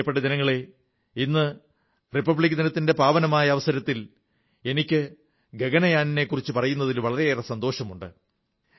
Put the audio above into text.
പ്രിയപ്പെട്ട ജനങ്ങളേ ഇന്ന് റിപ്പബ്ലിക് ദിനത്തിന്റെ പാവനമായ അവസരത്തിൽ എനിക്ക് ഗഗൻയാനിനെക്കുറിച്ചു പറയുന്നതിൽ വളരേയറെ സന്തോഷമുണ്ട്